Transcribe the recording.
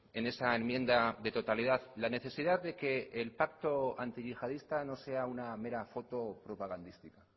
en esa enmienda de totalidad la necesidad de que el pacto antiyihadista no sea una mera foto propagandística